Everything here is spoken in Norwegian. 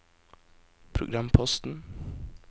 programposten